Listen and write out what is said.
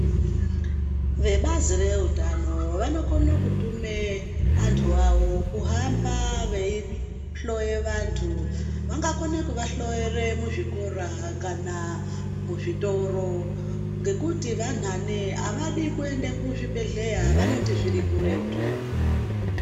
Vebazi reutano vanokone kutume vanthu vawo kuhamba veihloye vanthu vangakone kuvahloyere muzvikora kana muzvitoro ngekuti vakati vanhane avadi kudi kuende kuzvibhedhleya vanoti zviri kuretu.